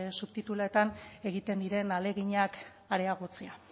subtituluetan egiten diren ahaleginak areagotzea